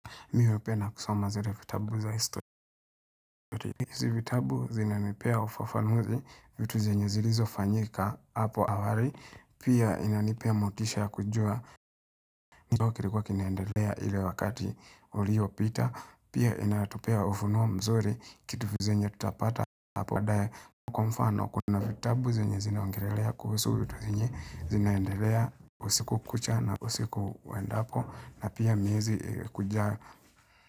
Mimi hupenda kusoma zile vitabu za historia vitabu zinanipea ufafanuzi vitu zenye zilizo fanyika hapo awali. Pia inanipea motisha kujua. Kilikuwa kinaendelea ile wakati uliyo pita. Pia inatupea ufunuo mzuri. Kitu zenye tutapata hapo ndani. Kwa mfano kuna vitabu zenye zina ongelelea kuhusu vitu zenye. Zinaendelea usiku kucha na usiku uendapo. Na pia miezi ijayo.